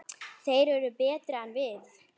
Þeir eru betri en við.